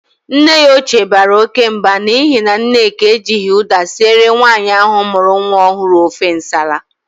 Nne ya ochie bara oke Mba n'ihi na Nneka ejighi uda sire nwaanyi ahu muru nwa ohuru ofe nsala.